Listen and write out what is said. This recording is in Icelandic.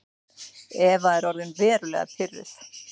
Eva er orðin verulega pirruð.